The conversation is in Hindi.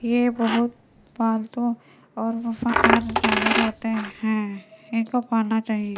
ये बहुत पालतू और वफादार जानवर होते हैं इनको पाना चाहिए।